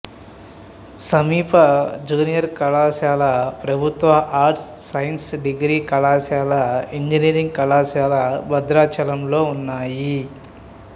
సమీప జూనియర్ కళాశాల ప్రభుత్వ ఆర్ట్స్ సైన్స్ డిగ్రీ కళాశాల ఇంజనీరింగ్ కళాశాల భద్రాచలంలో ఉన్నాయి